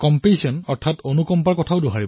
আমাৰ শাস্ত্ৰসমূহত এই বিষয়ে ভাল কথা লিখা আছে